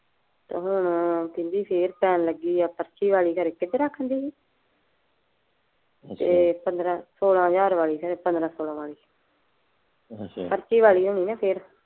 ਤੇ ਹੁਣ ਉਹ ਕਹਿੰਦੀ ਫੇਰ ਜਾਣ ਲੱਗੀ ਏ। ਤੇ ਪੰਦਰਾਂ ਸੋਲਾਂ ਹਜ਼ਾਰ ਮੰਗਦੇ ਆ ਪੰਦਰਾਂ ਸੋਲਾਂ ਦਿਨਾਂ